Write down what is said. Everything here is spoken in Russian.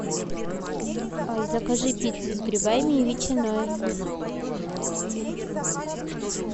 закажи пиццу с грибами и ветчиной